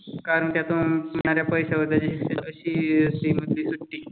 कारण त्यातून सुटणाऱ्या पैशावर त्याची अशी श्रीमंत सुटते.